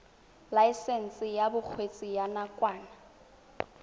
laesense ya bokgweetsi ya nakwana